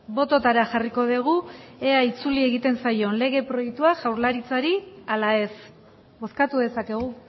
bototara jarriko dugu ea itzuli egiten zaion lege proiektua jaurlaritzari ala ez bozkatu dezakegu